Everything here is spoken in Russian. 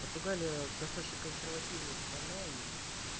португалия достаточно консервативная страна и